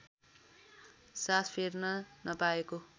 सास फेर्न नपाएको